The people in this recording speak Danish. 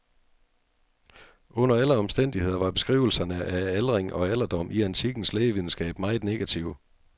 Under alle omstændigheder var beskrivelserne af aldring og alderdom i antikkens lægevidenskab meget negative.